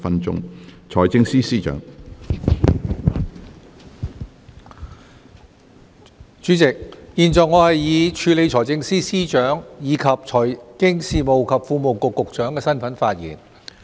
主席，現在我以署理財政司司長，以及財經事務及庫務局局長的身份發言。